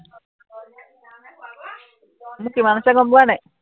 মোৰ কিমান আছে গম পাৱা নাই